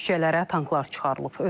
Küçələrə tanklar çıxarılıb.